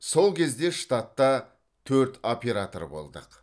сол кезде штатта төрт оператор болдық